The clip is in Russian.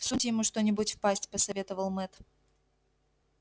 всуньте ему что нибудь в пасть посоветовал мэтт